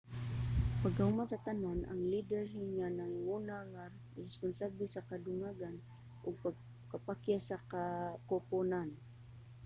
pagkahuman sa tanan ang lider ang nanguna nga responsable sa kadugangan ug pagkapakyas sa koponan